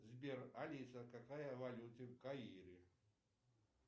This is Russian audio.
сбер алиса какая валюта в каире